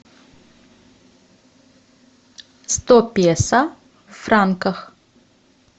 сто песо в франках